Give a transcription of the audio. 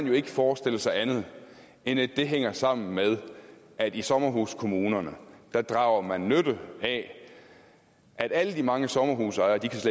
jo ikke forestille sig andet end at det hænger sammen med at i sommerhuskommunerne drager man nytte af at alle de mange sommerhusejere